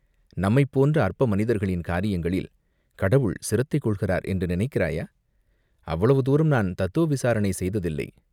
நம்மைப் போன்ற அற்ப மனிதர்களின் காரியங்களில் கடவுள் சிரத்தை கொள்கிறார் என்று நினைக்கிறாயா?" "அவ்வளவு தூரம் நான் தத்துவ விசாரணை செய்ததில்லை.